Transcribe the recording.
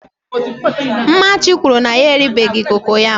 mmachi kwuru na ya eribeghi kokoyam